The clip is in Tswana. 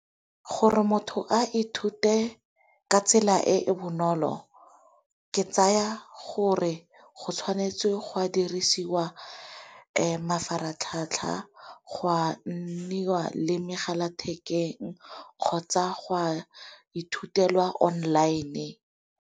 Gore motho a ithute ka tsela e e bonolo ke tsaya gore go tshwanetswe go a dirisiwa mafaratlhatlha go a nniwa le megala thekeng kgotsa go a ithutelwa online.